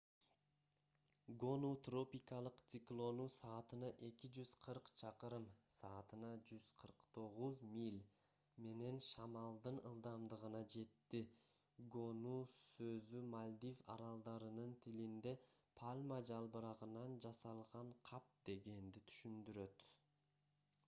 гону тропикалык циклону саатына 240 чакырым саатына 149 миля менен шамалдын ылдамдыгына жетти гону сөзү мальдив аралдарынын тилинде пальма жалбырагынан жасалган кап дегенди түшүндүрөт